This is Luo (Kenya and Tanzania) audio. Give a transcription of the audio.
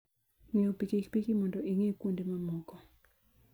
Ng'iewo pikipiki mondo ing'i kuonde mamoko.